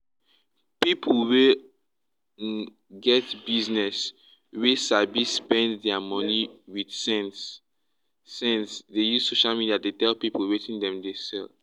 pipu wey um get business wey sabi spend dia money wit sense sense dey use social media dey tell people wetin dem dey sell